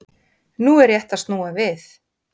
Nú er rétt að snúa við